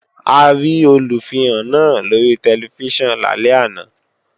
A rí Olùfihàn náà lóri tẹlifíṣàn lálẹ́ àná